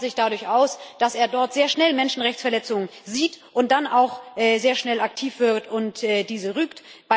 Er zeichnet sich dadurch aus, dass er dort sehr schnell Menschenrechtsverletzungen sieht und dann auch sehr schnell aktiv wird und diese rügt.